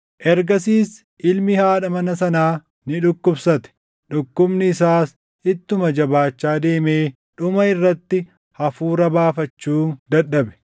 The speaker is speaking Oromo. Ergasiis ilmi haadha mana sanaa ni dhukkubsate. Dhukkubni isaas ittuma jabaachaa deemee dhuma irratti hafuura baafachuu dadhabe.